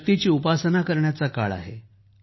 शक्तीची उपासना करण्याचा काळ आहे